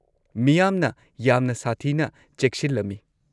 -ꯃꯤꯌꯥꯝꯅ ꯌꯥꯝꯅ ꯁꯥꯊꯤꯅ ꯆꯦꯛꯁꯤꯜꯂꯝꯃꯤ ꯫